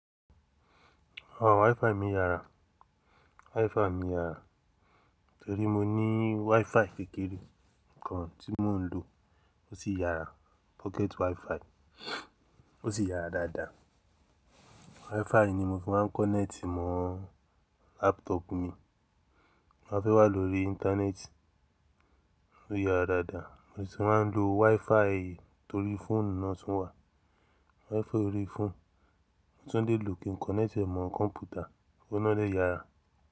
À, WiFi mi yára, WiFi mi yára torí mo ní WiFi kékeré kan tí mò ń lò, ó sì yára, pocket WiFi ó sì yára dáadáa. WiFi ni mo fi máa ń connect mọ́ laptop mi, mo máa fẹ́ wá lórí internet ó yára dáadáa mo sì máa ń lo WiFi torí fóònù náà tún wà. WiFi orí fóònù, mo tún lè lò kí n connect ẹ mọ kọ̀mpútà, óun ná dè yára.